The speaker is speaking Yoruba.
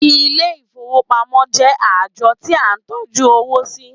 Ilé ìfowópamọ́ jẹ́ ààjọ tí à ń tọ́jú owó sí.